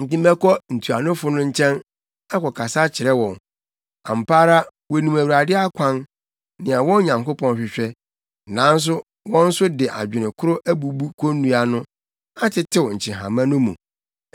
Enti mɛkɔ ntuanofo no nkyɛn akɔkasa akyerɛ wɔn; ampa ara wonim Awurade akwan nea wɔn Onyankopɔn hwehwɛ.” Nanso wɔn nso de adwene koro abubu konnua no atetew nkyehama no mu.